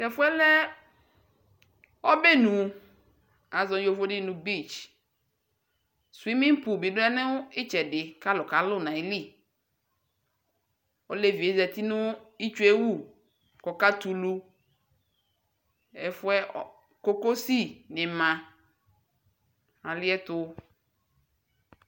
Tɛfuɛ lɛ ɔbɛnu yovoni aʒɔ nu beach swimming pull bi du itsɛdi ku alu kalu nu ayiliolevidi du ituewu kaka tu ɛfuɛ kokosi ni ma kaliɛtu